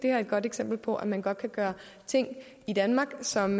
er et godt eksempel på at man godt kan gøre ting i danmark som